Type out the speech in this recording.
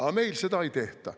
Aga meil seda ei tehta.